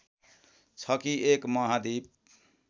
छ कि एक महाद्वीप